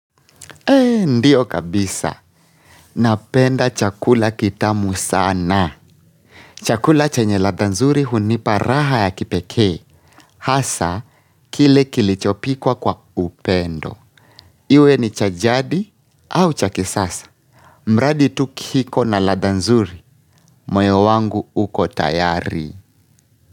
Eee, ndio kabisa. Napenda chakula kitamu sana. Chakula chenye ladha nzuri hunipa raha ya kipekee. Hasa, kile kilichopikwa kwa upendo. Iwe ni cha jadi au cha kisasa. Mradi tu kiko na ladha nzuri. Moyo wangu uko tayari.